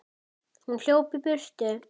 Hún hljóp í burtu.